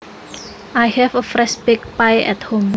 I have a fresh baked pie at home